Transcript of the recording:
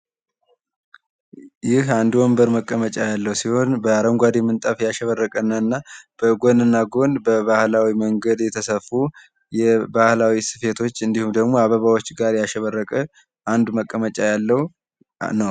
በአረንጓዴ እፀዋት ያሸበረቀ ነዉ።